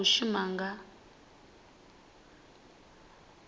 vhane vha khou shuma nga